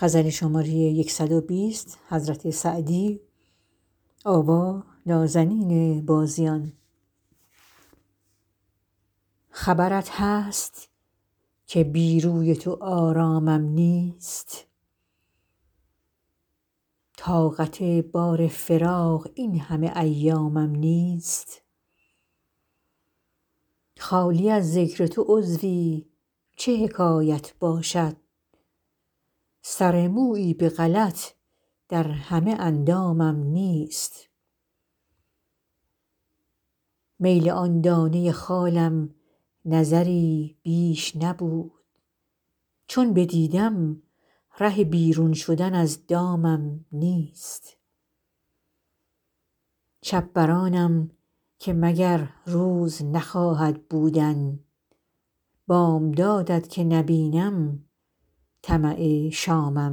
خبرت هست که بی روی تو آرامم نیست طاقت بار فراق این همه ایامم نیست خالی از ذکر تو عضوی چه حکایت باشد سر مویی به غلط در همه اندامم نیست میل آن دانه خالم نظری بیش نبود چون بدیدم ره بیرون شدن از دامم نیست شب بر آنم که مگر روز نخواهد بودن بامداد ت که نبینم طمع شامم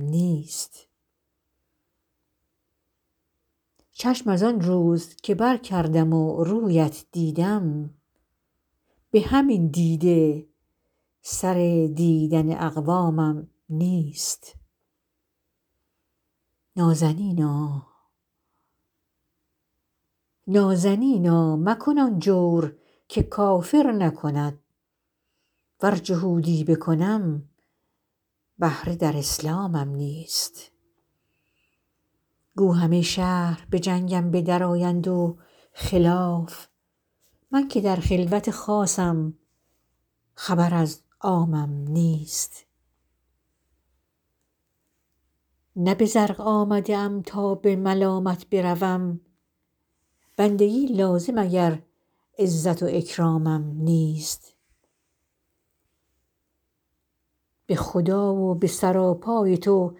نیست چشم از آن روز که برکردم و روی ات دیدم به همین دیده سر دیدن اقوامم نیست نازنینا مکن آن جور که کافر نکند ور جهودی بکنم بهره در اسلامم نیست گو همه شهر به جنگم به درآیند و خلاف من که در خلوت خاصم خبر از عامم نیست نه به زرق آمده ام تا به ملامت بروم بندگی لازم اگر عزت و اکرامم نیست به خدا و به سراپای تو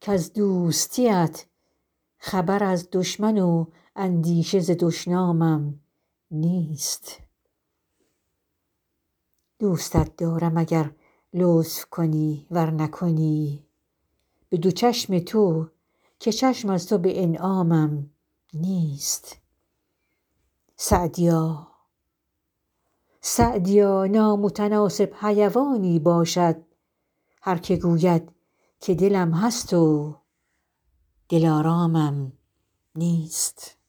کز دوستی ات خبر از دشمن و اندیشه ز دشنامم نیست دوستت دارم اگر لطف کنی ور نکنی به دو چشم تو که چشم از تو به انعامم نیست سعدیا نامتناسب حیوانی باشد هر که گوید که دلم هست و دلآرامم نیست